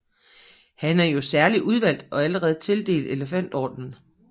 Han er jo særlig udvalgt og allerede tildelt elefantordenen